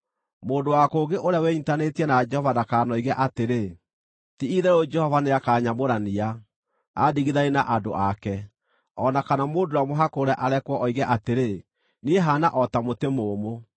Mũndũ wa kũngĩ ũrĩa wĩnyiitanĩtie na Jehova ndakanoige atĩrĩ, “Ti-itherũ Jehova nĩakanyamũrania, andigithanie na andũ ake.” O na kana mũndũ ũrĩa mũhakũre arekwo oige atĩrĩ, “Niĩ haana o ta mũtĩ mũũmũ.”